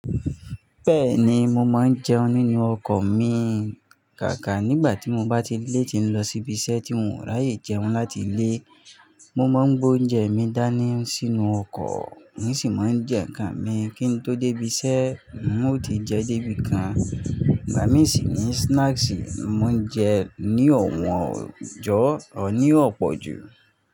Bẹ́ẹ̀ni, mo máa ń jẹun nínú ọkọ̀ mi, kàkà nígbà tí mo bá ti léètì ń lọ síbi iṣẹ́ tí n ò ráyè jẹun láti ilé. Mo máa ń gbé oúnjẹ mi dání sínú ọkọ̀, mo sì máa ń jẹ nǹkan mi kí n tó dé ibi iṣẹ́, n ó ti jẹ dé ibi kan. Ìgbà míì sì ni snacks ni mo ń jẹ ní ọ̀wọ́n ọjọ́ ní ọ̀pọ̀ jù.